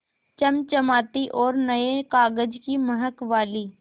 चमचमाती और नये कागज़ की महक वाली